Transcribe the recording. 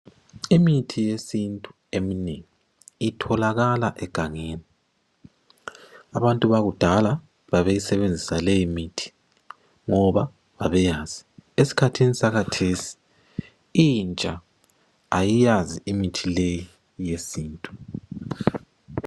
Imithi yesintu eminengi itholakala egangeni. Abantu bakudala babeyisebenzisa leyimithi ngoba babeyazi. Esikhathini sakhathesi intsha ayiyazi imithi leyi yesintu.